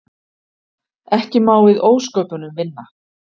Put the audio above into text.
Ekki má við ósköpunum vinna.